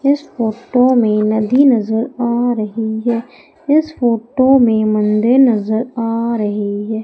इस फोटो में नदी नजर आ रही है इस फोटो में मंदिर नजर आ रही है।